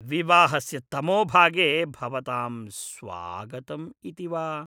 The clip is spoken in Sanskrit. विवाहस्य तमोभागे भवतां स्वागतम् इति वा?